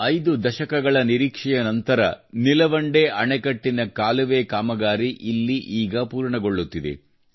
ಐದು ದಶಕಗಳಿಂದ ನಿರೀಕ್ಷೆ ನಂತರ ನೀಲವಂಡೆ ಅಣೆಕಟ್ಟಿನ ಕಾಲುವೆ ಕಾಮಗಾರಿ ಇಲ್ಲಿ ಈಗ ಪೂರ್ಣಗೊಳ್ಳುತ್ತಿದೆ